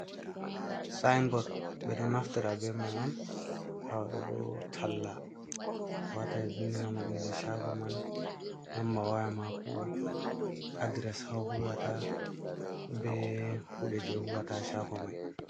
sinbod ɓe ɗo naftira be mai on wadogo talla, wata vindinama inde shago man, numba waya mako, adres ha huwata be kude je huwata shago mai.